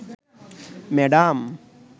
madam